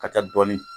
Ka taa dɔɔnin